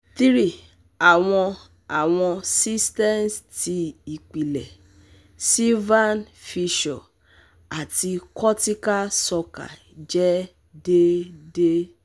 three awọn awọn cisterns ti ipilẹ, silvian fissure ati cortical sulci jẹ deede